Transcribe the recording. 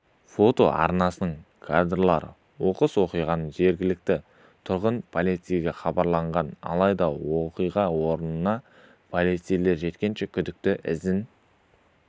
фото арнасының кадрлары оқыс оқиғаны жергілікті тұрғын полицейге хабарлаған алайда оқиға орнына полицейлер жеткенше күдікті ізін